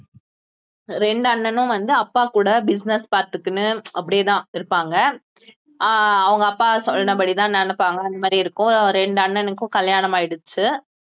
ரெண்டு அண்ணனும் வந்து அப்பா கூட business பாத்துக்கினு அப்படியேதான் இருப்பாங்க அஹ் அவங்க அப்பா சொன்னபடிதான் நடப்பாங்க அந்த மாதிரி இருக்கும் ரெண்டு அண்ணனுக்கும் கல்யாணம் ஆயிடுச்சு